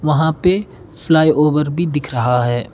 वहां पे flyover भी दिख रहा है।